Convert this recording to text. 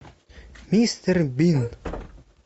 мистер бин